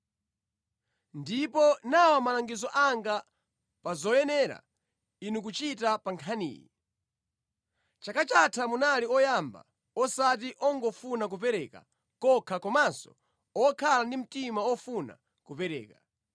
Ndipo nawa malangizo anga pa zoyenera inu kuchita pa nkhaniyi. Chaka chatha munali oyamba, osati ongofuna kupereka kokha komanso okhala ndi mtima ofuna kupereka.